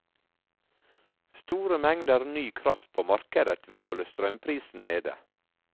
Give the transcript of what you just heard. Store mengder ny kraft på markedet vil holde strømprisen nede.